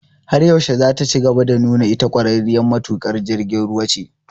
Har yaushe zataci gaba da nuna ita ƙwararriyar matuƙin jirgin ruwa ce?